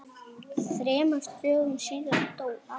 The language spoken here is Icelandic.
Þremur dögum síðar dó amma.